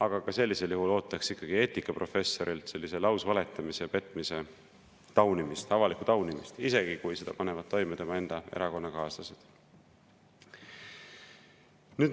Aga ka sellisel juhul ootaks eetikaprofessorilt sellise lausvaletamise ja petmise taunimist, avalikku taunimist, isegi kui seda panevad toime tema enda erakonnakaaslased.